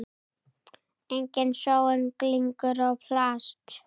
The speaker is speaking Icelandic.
Engin sóun, glingur og plast.